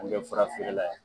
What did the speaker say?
An be fura feere la yan.